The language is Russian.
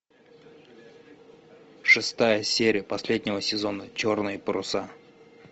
шестая серия последнего сезона черные паруса